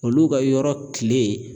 Olu ka yɔrɔ tile